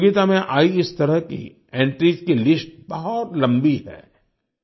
प्रतियोगिता में आयी इस तरह की एंट्रीज की लिस्ट बहुत लम्बी है